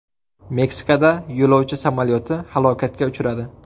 Meksikada yo‘lovchi samolyoti halokatga uchradi .